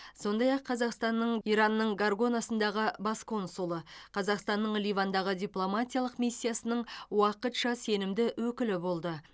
сондай ақ қазақстанның иранның горганасындағы бас консулы қазақстанның ливандағы дипломатиялық миссиясының уақытша сенімді өкілі болды